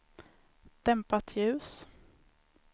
dämpat ljus